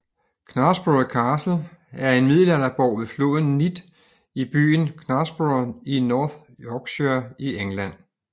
Knaresborough Castle er en middelalderborg ved floden Nidd i byen Knaresborough i North Yorkshire i England